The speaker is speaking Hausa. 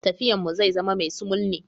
Tafiyan mu zai zama mai sumul ne.